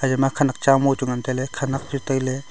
eya ma khenek cha mua chu ngan tailey khenek chu tailey.